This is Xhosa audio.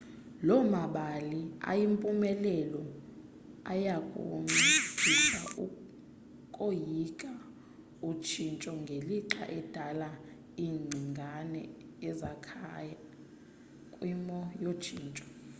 loo mabali ayimpumelelo ayakunciphisa ukoyika utshintsho ngelixa edala ingcingane ezakhaya kwimo yotshintsho